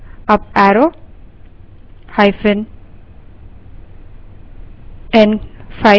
up arrown5 दबायें और enter करें